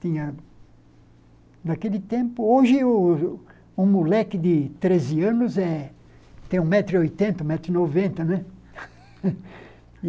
Tinha... Naquele tempo... Hoje, o um moleque de treze anos tem um metro e oitenta, um metro e noventa, né?